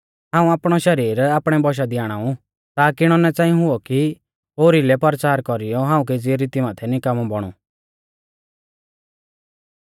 हाऊं आपणौ शरीर आपणै बौशा दी आणाऊ ताकी इणौ ना च़ांई हुऔ कि ओरीउलै परचार कौरीयौ हाऊं केज़ी रीती माथै निकामौ बौणु